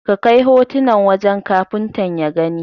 Ka kai hotunan wajen Kafuntan ya gani.